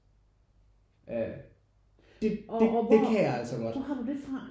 Øh det det det kan jeg altså godt